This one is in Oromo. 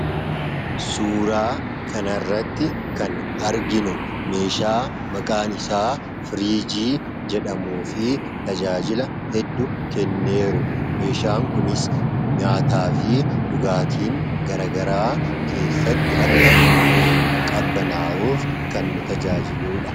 suuraa kanarratti kan arginu meeshaa maqaan isaa firiijii jedhamu fi tajaajila hedduu kennuudha. meeshaan kunis nyaataa fi dhugaatiin garagaraa keessatti akka nuuf qabanaawuuf kan nu tajaajiluudha.